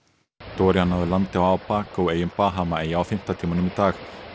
Abaco eyjum Bahamaeyja á fimmta tímanum í dag